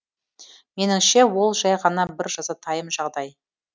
меніңше ол жай ғана бір жазатайым жағдай